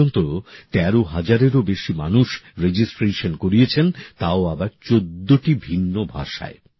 এখন পর্যন্ত ১৩ হাজারেরও বেশি মানুষ নিবন্ধিকরন করেছেন তাও আবার ১৪টি ভিন্ন ভাষায়